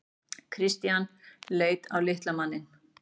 Christian leit á litla manninn.